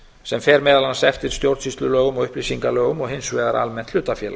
sem fer meðal annars eftir stjórnsýslulögum og upplýsingalögum og hinsvegar almennt hlutafélag